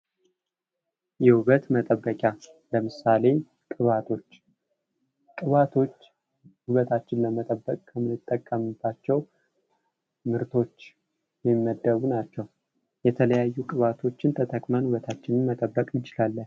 የውበት መጠበቂያ ለምሳሌ ቅባቶች፦ ቅባቶች ውበታችንን ለመጠበቅ ከምንጠቀምባቸው ምርቶች የሚመደቡ ናቸው። የተለያዩ ቅባቶችን ተጠቅመን ውበታችንን መጠበቅ እንችላለን።